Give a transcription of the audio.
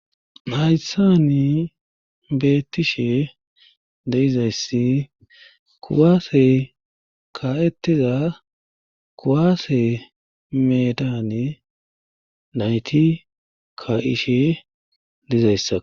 Haysani beettishe de'izayssi kuwaase ka'etiza kuwaase medaane nayti ka'ishe dizayssa